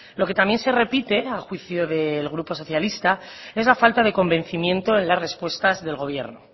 lo que también se repite a juicio del grupo socialista es la falta de convencimiento en las respuestas del gobierno